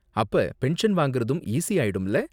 அப்ப பென்ஷன் வாங்கறதும் ஈசி ஆயிடும்ல?